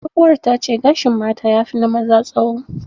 Tsohuwar ta ce gashin mata yafi na maza tsawo.